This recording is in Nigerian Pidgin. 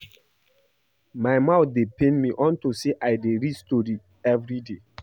My mouth dey pain me unto say I dey read story everyday